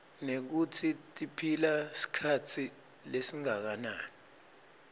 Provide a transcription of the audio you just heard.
nekutsi tiphila sikhatsi lesinganani